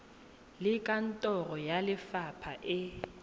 le kantoro ya lefapha e